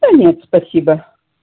да нет спасибо